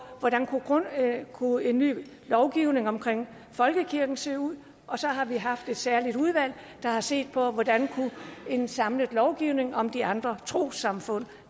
hvordan en ny lovgivning om folkekirken kunne se ud og så har vi haft et særligt udvalg der har set på hvordan en samlet lovgivning om de andre trossamfund